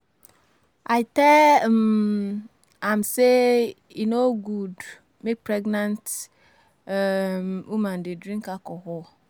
I tell um am say e no good mak pregnant um woman de drink alcohol